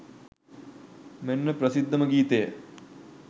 මෙන්න ප්‍රසිද්ධම ගීතය